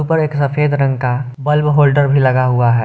उपर एक सफेद रंग का बल्ब होल्डर भी लगा हुआ है।